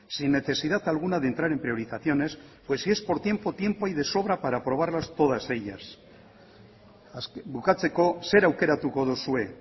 sin necesidad alguna de entrar en priorizaciones porque si es por tiempo tiempo hay de sobra para aprobarlas todas ellas bukatzeko zer aukeratuko duzue